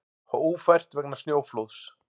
Ófært vegna snjóflóðs